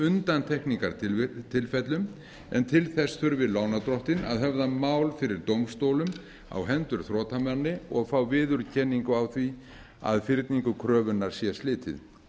undantekningartilfellum en til þess þurfi lánardrottinn að höfða mál fyrir dómstólum á hendur þrotamanni og fá viðurkenningu á því að fyrningu kröfunnar sé slitið